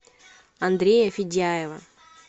андрея федяева